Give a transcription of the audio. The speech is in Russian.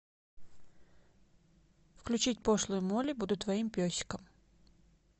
включить пошлую молли буду твоим песиком